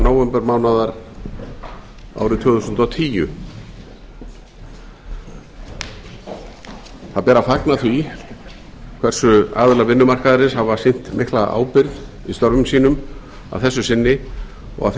nóvembermánaðar árið tvö þúsund og tíu það ber að fagna því hversu aðilar vinnumarkaðarins hafa sýnt mikla ábyrgð í störfum sínum að þessu sinni og að